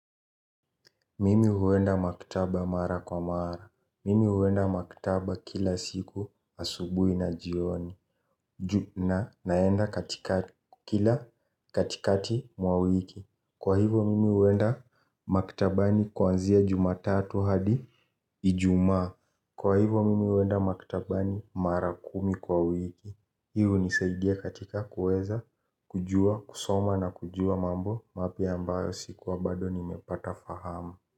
Mimi huenda maktaba mara kwa mara. Mimi huenda makjutaba kila siku asubui na jioni. Ju na naenda katikati kila katikati mwa wiki. Kwa hivo mimi huenda maktabani kwanzia jumatatu hadi ijumaa. Kwa hivo mimi huenda makitaba ni mara kumi kwa wiki. Hio hunisaidia katika kueza kujua kusoma na kujua mambo mapya ambayo sikuwa bado nimepata fahama.